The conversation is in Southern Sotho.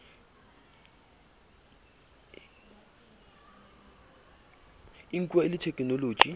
e nkuwa e le thekenoloji